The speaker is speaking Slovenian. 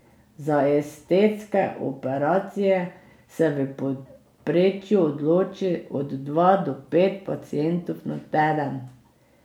Za estetske operacije se v povprečju odloči od dva do pet pacientov na teden.